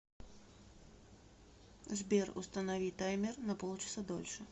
сбер установи таймер на полчаса дольше